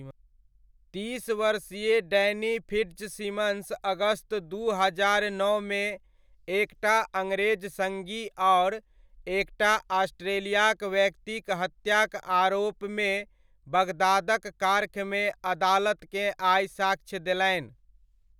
तीस वर्षीय Danny Fitzsimons अगस्त दू हजार नओमे एकटा अङ्ग्रेज सङी आओर एकटा ऑस्ट्रेलियाक व्यक्तिक हत्याक आरोपमे बगदादक कार्खमे, अदालतकेँ आइ साक्ष्य देलनि।